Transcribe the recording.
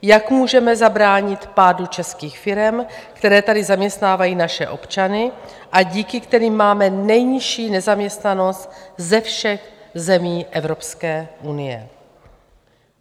Jak můžeme zabránit pádu českých firem, které tady zaměstnávají naše občany a díky kterým máme nejnižší nezaměstnanost ze všech zemí Evropské unie?